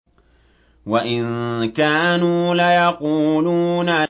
وَإِن كَانُوا لَيَقُولُونَ